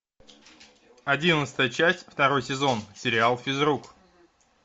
одиннадцатая часть второй сезон сериал физрук